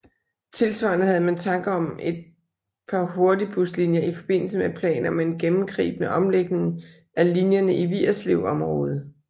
Tilsvarende havde man tanker om et par hurtigbuslinjer i forbindelse med planer om en gennemgribende omlægning af linjerne i Vigerslevområdet